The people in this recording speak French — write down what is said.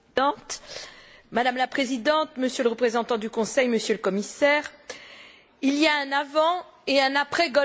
Madame la Présidente, Monsieur le représentant du Conseil, Monsieur le Commissaire, il y a un avant et un après golfe du Mexique.